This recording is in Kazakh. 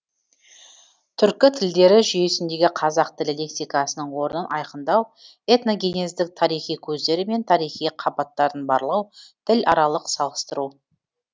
түркі тілдері жүйесіндегі қазақ тілі лексикасының орнын айқындау этногенездік тарихи көздері мен тарихи қабаттарын барлау тіларалық салыстыру